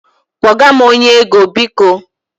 Kpọga m onye ego, biko.